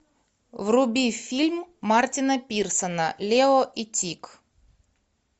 вруби фильм мартина персона лео и тик